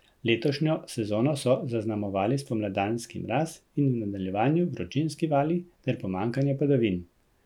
Letošnjo sezono so zaznamovali spomladanski mraz in v nadaljevanju vročinski vali ter pomanjkanje padavin.